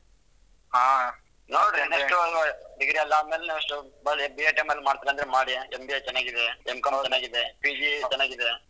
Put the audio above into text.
ಹಾ ನೋಡ್ರಿ next ಒಂದ್ degree ಎಲ್ಲ ಆದ್ಮೇಲೆ next BITM ಅಲ್ಲಿ ಮಾಡ್ತಿರಂದ್ರೆ ಮಾಡಿ MBA ಚೆನ್ನಾಗಿದೆ. M.Com ಚೆನ್ನಾಗಿದೆ. PG ಚೆನ್ನಾಗಿದೆ.